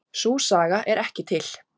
Sú saga er ekki til.